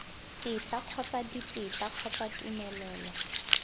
tetla kgotsa ditetla kgotsa tumelelo